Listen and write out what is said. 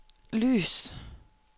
lys